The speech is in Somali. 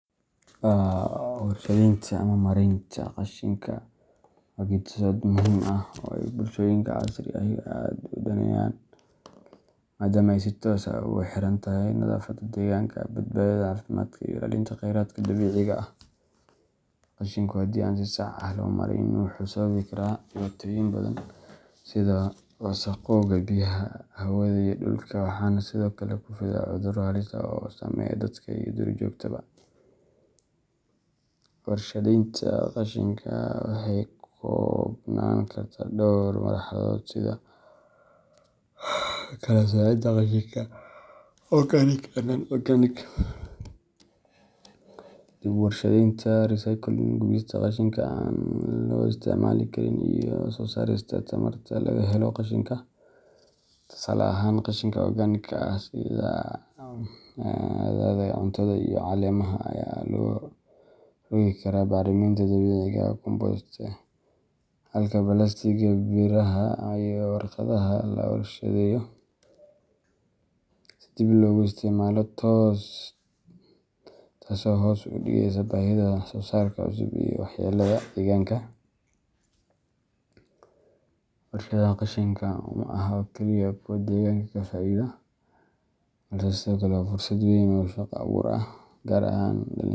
Warshadaynta ama maaraynta qashinka waa geeddi-socod muhiim ah oo ay bulshooyinka casriga ahi aad u daneynayaan, maadaama ay si toos ah ugu xirantahay nadaafadda deegaanka, badbaadada caafimaadka, iyo ilaalinta kheyraadka dabiiciga ah. Qashinku haddii aan si sax ah loo maarayn wuxuu sababi karaa dhibaatooyin badan sida wasakhowga biyaha, hawada, iyo dhulka, waxaana sidoo kale ku fidaa cudurro halis ah oo saameeya dadka iyo duurjoogtaba. Warshadaynta qashinka waxay ka koobnaan kartaa dhowr marxaladood sida kala-soocidda qashinka organic and non-organic, dib-u-warshadaynta recycling, gubista qashinka aan dib loo isticmaali karin, iyo soo saarista tamarta laga helo qashinka. Tusaale ahaan, qashinka organic-ka ah sida hadhaaga cuntada iyo caleemaha ayaa loo rogi karaa bacriminta dabiiciga ah compost, halka balaastigga, biraha, iyo warqadaha la warshadeeyo si dib loogu isticmaalo, taasoo hoos u dhigaysa baahida wax-soo-saar cusub iyo waxyeellada deegaanka. Warshadaha qashinka ma aha oo keliya kuwo deegaanku ka faa’iido, balse sidoo kale waa fursad weyn oo shaqo abuur ah, gaar ahaan dhalinyarada .